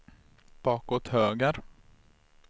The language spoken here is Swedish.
bakåt höger